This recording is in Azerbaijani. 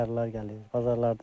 Bazarlardan gəlirlər.